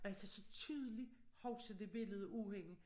Og jeg kan så tydeligt huske det billede af hende